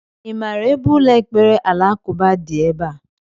I maara ebe ụlọ ekpere alakụba dị ebea?